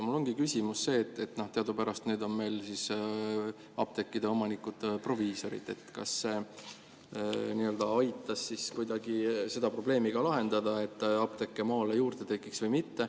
Mul ongi küsimus, et teadupärast on meil apteekide omanikud proviisorid ja kas see aitas kuidagi seda probleemi lahendada, et apteeke maale juurde tekiks, või mitte.